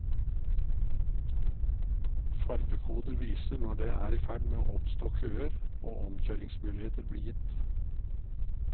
Farvekoder viser når det er i ferd med å oppstå køer, og omkjøringsmuligheter blir gitt.